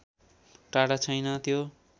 टाढा छैन त्यो